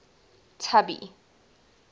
tubby